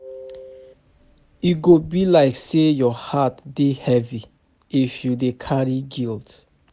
E go be like sey your heart dey heavy if you dey carry guilt.